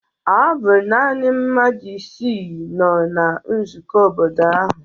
Ọ bụ naanị mmadụ isii nọ na nzukọ obodo ahụ